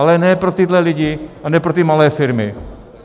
Ale ne pro tyhle lidi a ne pro ty malé firmy.